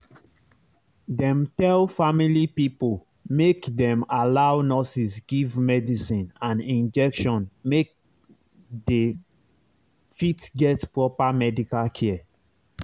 dem tell family pipo make dem allow nurses give medicine and injection make dey fit get proper medical care